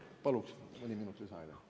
Palun mõni minut lisaaega!